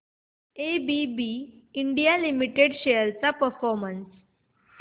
ABB India limited shares चा performance